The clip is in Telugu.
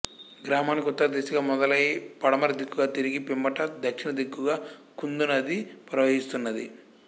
గ్రామానికి ఉత్తర దిశగా మొదలై పడమరదిక్కుగా తిరిగి పిమ్మట దక్షిణ దిక్కుగా కుందు నది ప్రవహిస్తున్నది